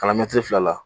Kalan mɛtiri fila la